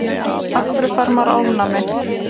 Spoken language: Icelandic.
af hverju fær maður ofnæmi